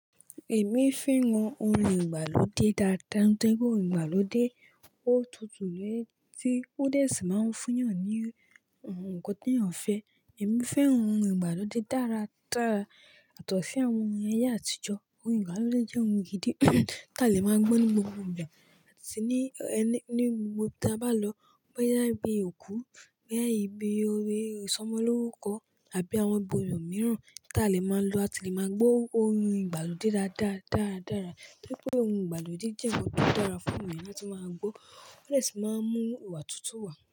Èmi fẹ́ran ohun ìgbàlódé dáadáa. Nítorí pé òun ìgbàlódé, ó tutù léè tí ó dé sí máa ń fún èèyàn ní ǹkan tí èèyàn fẹ́. Èmi fẹ́ran ohun ìgbàlódé dára dára. Yato si àwọn ohun ayé àtijọ́, ohun ìgbàlódé jẹ́ ohun gidi tí a lè máa ń gbọ́ ní gbogbo ìgbà àti ní ẹni ní gbogbo ibi tí a bá lọ. Bó yá ibi òkú, bá yá ibi orí ìsọmọlórúkọ àbí àwọn ibo mìíràn tí a lè máa ń lọ, a ti lè máa gbọ́ ohun ìgbàlódé dáadáa dáradára. Wipe ohun ìgbàlódé jẹ́ ọ̀pọ̀lọpọ̀ dára fún èèyàn láti máa gbọ́. Ó lè sì máa ń mú ìwà tuntun wá.